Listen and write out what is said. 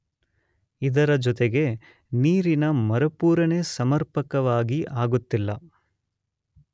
ಇದರ ಜೊತೆಗೆ ನೀರಿನ ಮರುಪೂರಣೆ ಸಮರ್ಪಕವಾಗಿ ಆಗುತ್ತಿಲ್ಲ.